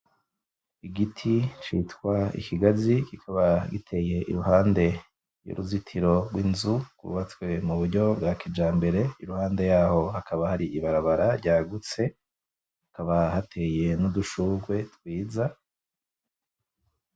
Igiti citwa ikigazi kikaba giteye iruhande y'uruzitiro rw'inzu, rwubatswe muburyo bwa kijambere, iruhande yaho hakaba hari ibarabara ryagutse, hakaba hateye n'udushurwe twiza.